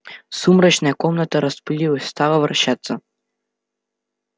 сумрачная комната расплылась стала вращаться